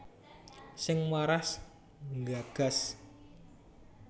Sing waras nggagas